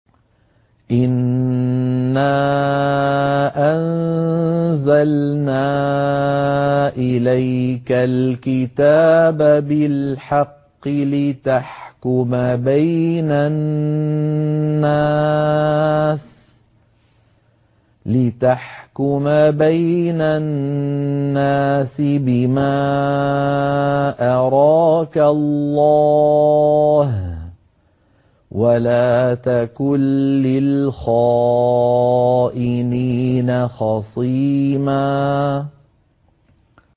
إِنَّا أَنزَلْنَا إِلَيْكَ الْكِتَابَ بِالْحَقِّ لِتَحْكُمَ بَيْنَ النَّاسِ بِمَا أَرَاكَ اللَّهُ ۚ وَلَا تَكُن لِّلْخَائِنِينَ خَصِيمًا